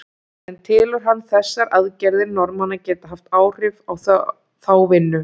En telur hann þessar aðgerðir Norðmanna geta haft áhrif á þá vinnu?